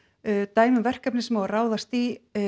dæmi um verkefni sem á að ráðast í